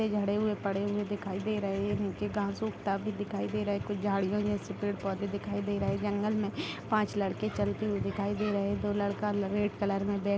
जड़े हुए पड़े हुए दिखाई दे रहे है। नीचे घास उगता भी दिखाई दे रहे है। कुछ झाड़िया यहाँ से पेड़-पौधे दिखाई दे रहे है। जंगल में पांच लड़के चलते हुए दिखाई दे रहे है। दो लड़का रेड कलर में बैग --